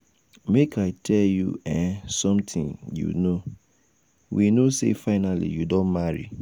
make i tell you um something you no know. um we know say finally you don marry.